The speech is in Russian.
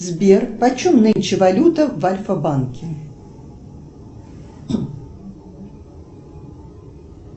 сбер почем нынче валюта в альфа банке